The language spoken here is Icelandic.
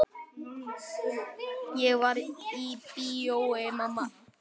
Ég var í bíói mamma.